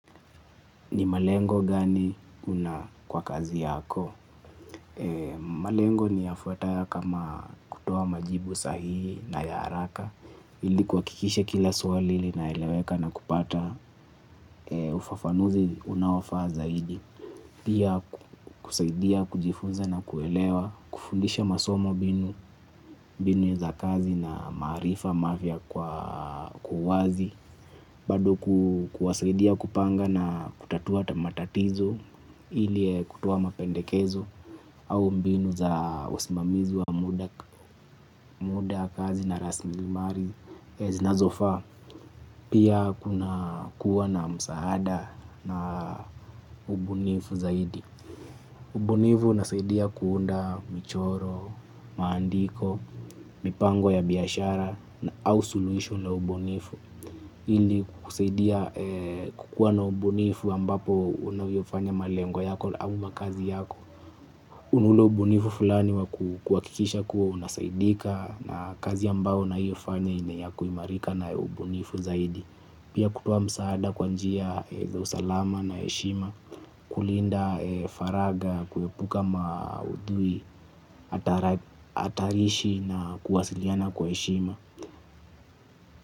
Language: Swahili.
Ni malengo gani una kwa kazi yako? Malengo niyafuataya kama kutoa majibu sahihi na ya haraka. Ili kuhakikisha kila swali linaeleweka na kupata ufafanuzi unaofaa zaidi. Pia kusaidia, kujifunza na kuelewa, kufundisha masomo binu, binu za kazi na maarifa mafia kwa kwa uwazi. Bado kuwasaidia kupanga na kutatua ta matatizo ili kutoa mapendekezo au mbinu za usimamizi wa muda kazi na rasmilimari. Zinazofaa pia kuna kuwa na msaada na ubunifu zaidi. Ubunifu unasaidia kuunda michoro, maandiko, mipango ya biashara au soluhisho la ubunifu ili kukusaidia kukuwa na ubunifu ambapo unavyofanya malengo yako au makazi yako uunde ubunifu fulani wa kuwakikisha kuwa unasaidika. Na kazi ambao unaioyofanya iwe ya kuimarika na ubunifu zaidi. Pia kutoa msaada kwa njia yenye usalama na heshima. Kulinda faraga kuwepuka maudhui atarishi na kuwasiliana kwa heshima.